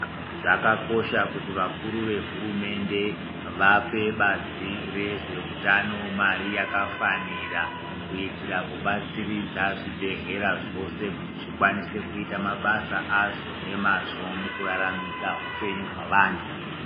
Zvakakosha kuti vakuru vehurumende vape bazi rezveutano mari yakafanira, kuitira kubatsiridza zvibhedhleya zvose kuti zvikwanise kuita mabasa azvo nemazvo mukuraramisa upenyu hwavantu.